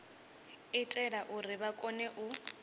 itela uri vha kone u